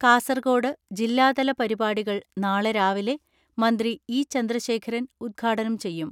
കാസർകോട് ജില്ലാതല പരിപാടികൾ നാളെ രാവിലെ മന്ത്രി ഇ ചന്ദ്രശേഖരൻ ഉദ്ഘാടനം ചെയ്യും.